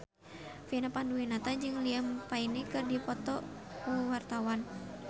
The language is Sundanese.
Vina Panduwinata jeung Liam Payne keur dipoto ku wartawan